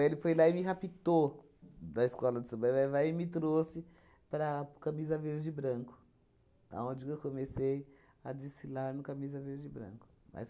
Ele foi lá e me raptou da escola de samba Vai-Vai e me trouxe para a para o Camisa Verde e Branco, aonde que comecei a desfilar no Camisa Verde e Branco. Mas